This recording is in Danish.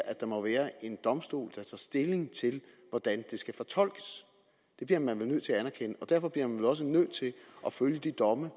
at der må være en domstol der tager stilling til hvordan det skal fortolkes det bliver man vel nødt til at anerkende derfor bliver man vel også nødt til at følge de domme